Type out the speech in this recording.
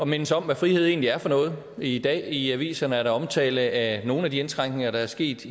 mindes om hvad frihed egentlig er for noget i dag i aviserne er der omtale af nogle af de indskrænkninger der er sket